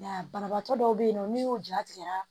Nka banabagatɔ dɔw bɛ yen nɔ n'i y'o ja tigɛ